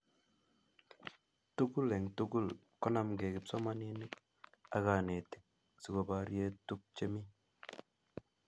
tukul eng tukul konamkei kipsomaninik ak kanetik sikoparie tukche iimi